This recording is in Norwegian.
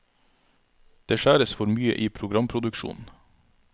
Det skjæres for mye i programproduksjonen.